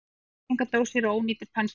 Málningardósir og ónýtir penslar.